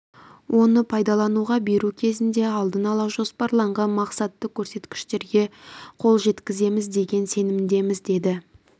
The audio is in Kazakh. оны пайдалануға беру кезінде алдын ала жоспарланған мақсатты көрсеткіштерге қол жеткіземіз деген сенімдеміз деді